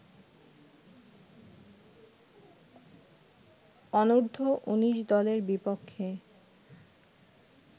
অনূর্ধ্ব-১৯ দলের বিপক্ষে